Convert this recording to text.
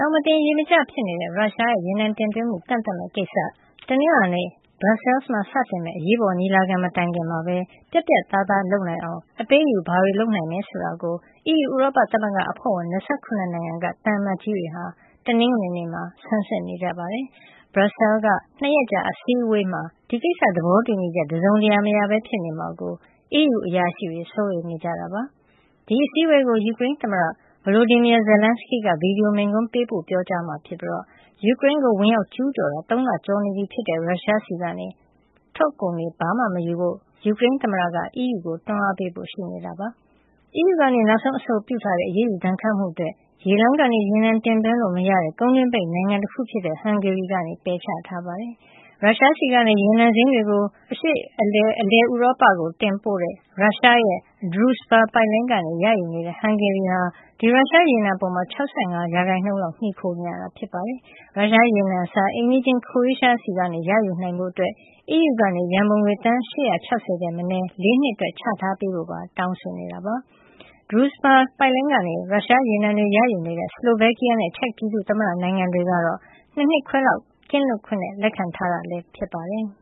ောင်မတင် ရေမကျ ဖြစ်နေတဲ့ ရုရှားရေနံတင်သွင်းမှု ကန့်သတ်မယ့်ကိစ္စ၊ တနင်္လာနေ့ ဘရပ်ဆဲလ်မှာ စတင်မယ့် အရေးပေါ်ညီလာခံမတိုင်ခင် ပြတ်ပြတ်သားသားလုပ်နိုင်အောင် အပေးအယူဘာတွေလုပ်နိုင်မယ် ဆိုတာကို အီးယူ ဥရောပသမဂ္ဂ အဖွဲ့ဝင် ၂၇ နိုင်ငံက သံအမတ်ကြီးတွေဟာ တနင်္ဂနွေနေ့မှာ ဆန်းစစ်နေကြပါတယ်။ ဘရပ်ဆဲလ်က ၂ ရက်ကြာအစည်းဝေးမှာ ဒီကိစ္စ သဘောတူညီချက် တစုံတရာ မရပဲ ဖြစ်နေမှာကို အီးယူအရာရှိတွေ စိုးရိမ်နေကြတာပါ။ ဒီအစည်းအဝေးကို ယူကရိန်းသမ္မတ Volodymyr Zelenskyy က ဗီဒီယို မိန့်ခွန်း ပေးပို့ပြောကြားမှာ ဖြစ်ပြီး ယူကရိန်းကို ဝင်ရောက် ကျူးကျော်တာ ၃ လကျော်နေပြီဖြစ်တဲ့ ရုရှား ဆီက ထွက်ကုန်တွေ မယူဖို့ ယူကရိန်းသမ္မတက အီးယူကို တွန်းအားပေးဖို့ ရှိနေပါတယ်။ အီးယူက နောက်ဆုံးအဆိုပြုထားတဲ့ အရေးယူဒဏ်ခတ်မှုအတွက် ရေလမ်းကနေ ရေနံတင်သွင်းလို့ မရတဲ့ ကုန်းတွင်းပိတ်နိုင်ငံတခု ဖြစ်တဲ့ ဟန်ဂေရီက ပယ်ချခဲ့တာ ဖြစ်ပါတယ်။ ရုရှားဆီက ရေနံစိမ်းတွေကို ရုရှားကနေ အရှေ့နဲ့ အလယ်ဥရောပကို တင်ပို့တဲ့ ရုရှားရဲ့ Druzhba ပိုက်လိုင်းကနေ ရယူနေတဲ့ ဟန်ဂေရီဟာ ဒီရုရှားရေနံ ပေါ်မှာ ၆၅ % လောက် မှီခိုနေရတာ ဖြစ်ပါတယ်။ ရုရှားရေနံအစား အိမ်နီးချင်း Croatia ဆီကနေ ယူနိုင်ဖို့ အီးယူက ရံပုံငွေ သန်း ၈၆၀ ထက်မနည်း ၄ နှစ်အတွက် ချထားပေးဖို့ လိုလားနေတာ ဖြစ်ပါတယ်။ Druzhba ပိုက်လိုင်းကနေ ရုရှားရေနံတွေ ရယူနေတဲ့ စလိုဗက်ကီးယားနဲ့ ချက်ပြည်သူ့သမ္မတနိုင်ငံ တွေကတော့ ၂ နှစ်ခွဲလောက် ကင်းလွတ်ခွင့်နဲ့ လက်ခံထားတာ ဖြစ်ပါတယ်။